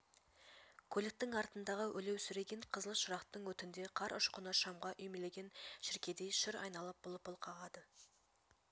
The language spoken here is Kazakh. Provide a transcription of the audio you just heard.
көліктің артындағы өлеусіреген қызыл шырақтың өтінде қар ұшқыны шамға үймелеген шіркейдей шыр айналып лыпыл қағады